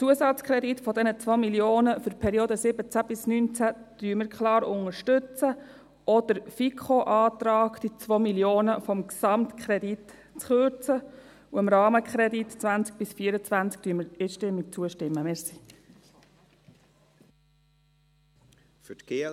Den Zusatzkredit von 2 Mio. Franken für die Periode 2017–2019 unterstützen wir klar, auch den FiKo-Antrag, den Gesamtkredit um diese 2 Mio. Franken zu kürzen.